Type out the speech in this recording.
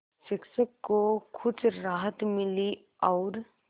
शिक्षक को कुछ राहत मिली और